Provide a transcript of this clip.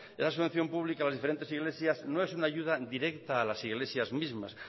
esa subvención pública a las diferentes iglesias no es una ayuda directa a las iglesias mismas